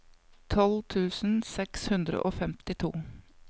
tolv tusen seks hundre og femtito